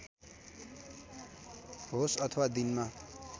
होस् अथवा दिनमा